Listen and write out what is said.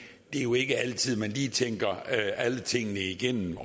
det er jo ikke altid man lige tænker alle tingene igennem